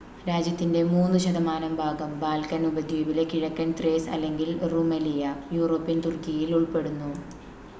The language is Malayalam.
രാജ്യത്തിന്റെ 3% ഭാഗം ബാൽക്കൻ ഉപദ്വീപിലെ കിഴക്കൻ ത്രേസ് അല്ലെങ്കിൽ റുമെലിയ യൂറോപ്യൻ തുർക്കിയിൽ ഉൾപ്പെടുന്നു